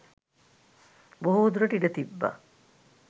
බොහෝදුරට ඉඩ තිබ්බා.